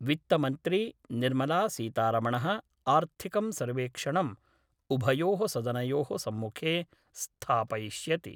वित्त मन्त्री निर्मलासीतारमण: आर्थिकं सर्वेक्षणं उभयोः सदनयोः सम्मुखे स्थापयिष्यति।